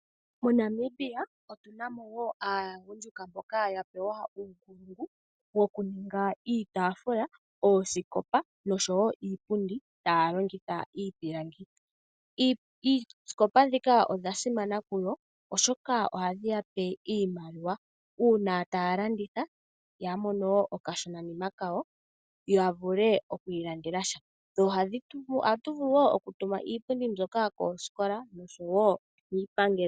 MoNamibia otu na mo wo aagundjuka mboka ya pewa uunongo wokuhonga iitaafula, oosikopa nosho wo iipundi taya longitha iipilangi. Iihongomwa mbika oya simana kuyo, oshoka ohayi ya pe iimaliwa uuna taya landitha ya mone okashonanima kawo ya vule oku ilandela sha. Ohatu vulu wo okutuma iipundi mbyoka koosikola osho wo kiipangelo.